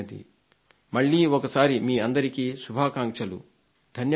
మళ్లీ ఒకసారి మీ అందరికీ శుభాకాంక్షలు ధన్యవాదాలు